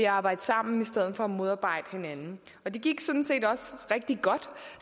arbejde sammen i stedet for at modarbejde hinanden og det gik sådan set også rigtig godt